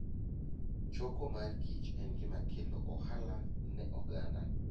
Choko mor kich en gima kelo ohala ne oganda.